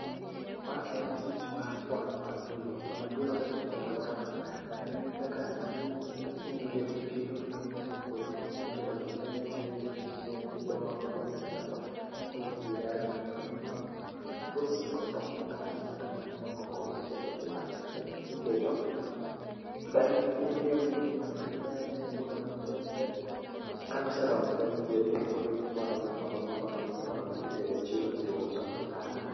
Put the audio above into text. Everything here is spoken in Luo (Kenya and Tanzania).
Ma en tich mar pono apilo. Pono apilo kaka itimo e aluorana en ni kaka tijni inyalo dhi tipidhogi mangeny e puodho kisepidho then iwegi gichiek, gidongo, ka gisedongo, ikuo gi gi yath mondo mi ka fruits gi go odong madongo madongo madongo koro iketo gi yath then kiseketo then imiyogi muda maber, muda maber then kane oseromo then idhi adhiya e puodho then iponogi ,iponogi ,iponogi ,iponogi titero gi e chiro iuso gi ne oganda